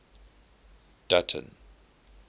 dutton